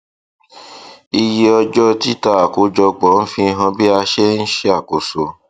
iye ọjọ títà àkójọpọ ń fi hàn bí a ṣe ń ṣàkóso